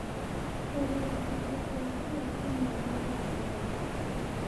Tũrĩ gĩcunjĩ kĩa kĩyo kĩnene gĩa thĩ yothe.